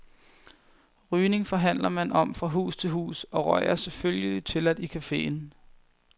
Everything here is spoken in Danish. Rygning forhandler man om fra hus til hus, og røg er, selvfølgelig, tilladt i caféen.